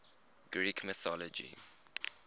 greek mythology